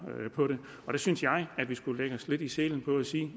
der synes jeg at vi skulle lægge os lidt i selen og sige